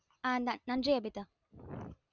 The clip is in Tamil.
ஆஹ் ஆஹ் நன்றி அபிதா